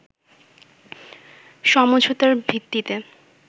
সমঝোতার ভিত্তিতে